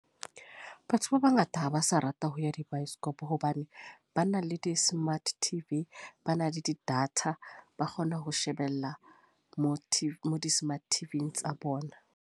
Batho ba bangata ha ba sa rata ho ya di baesekopo, hobane ba na le di-smart T_V. Ba na le di-data, ba kgona ho shebella mo T_ , mo di-smart T_V-ng tsa bona.